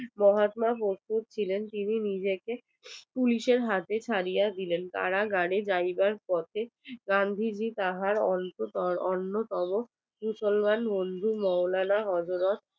মহাত্মা প্রস্তুত ছিলেন নিজেকে পুলিশের হাতে ছাড়িয়া দিলেন তারা গাড়ি যাইবার পথে গান্ধীজি তাহার অন্যতম কুশলগঞ্জ মন্ডি হরডালা হযরত